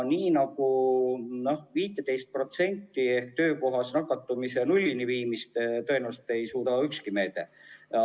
15% ehk töökohas nakatumise määra nullini viimist ei suuda tõenäoliselt ükski meede.